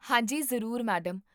ਹਾਂ ਜੀ, ਜ਼ਰੂਰ, ਮੈਡਮ